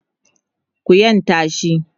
ku yanta shi!